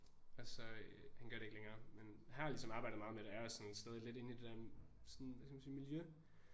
Og så øh han gør det ikke længere men har ligesom arbejdet meget med det og er også sådan stadig lidt inde i det der sådan hvad skal man sige miljø